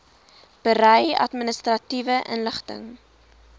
berei administratiewe inligting